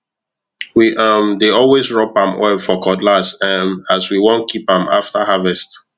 we um dey always rub palm oil for cutlass um as we want keep am after harvest